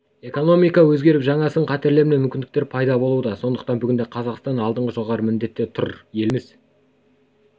экономика өзгеріп жаңа сын-қатерлер мен мүмкіндіктер пайда болуда сондықтан бүгінде қазақстан алдында жоғары міндеттер тұр еліміз